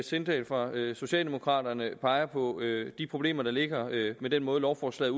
sindal fra socialdemokraterne peger på de problemer der ligger i den måde lovforslaget